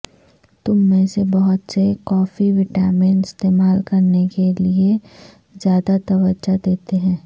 ہم میں سے بہت سے کافی وٹامن استعمال کرنے کے لئے زیادہ توجہ دیتے ہیں